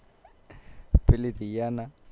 પેલી રિયા ના